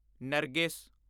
ਨਰਗਿਸ